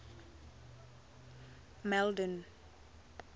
malden